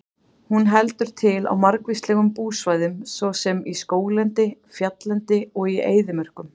Hún heldur til á margvíslegum búsvæðum svo sem í skóglendi, fjalllendi og í eyðimörkum.